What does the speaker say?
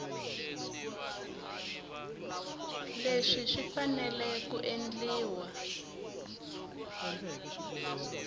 leswi swi fanele ku endliwa